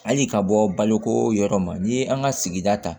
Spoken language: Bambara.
Hali ka bɔ baloko yɔrɔ ma n'i ye an ka sigida ta